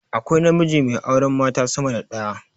Akwai namiji mai auren mata sama da daya